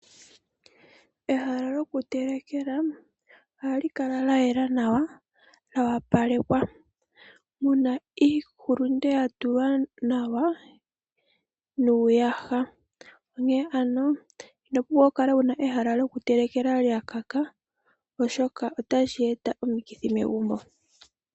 Ehala lyokutelekela ohali kala lya yela nawa, lyoopalekwa muna iihulunde yatulwa nawa niiyaha, onkee ano itovulu okukala wuna ehala lyokutelekeka lyakaka oshoka otali eta omikithi megumbo.